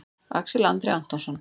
Axel Andri Antonsson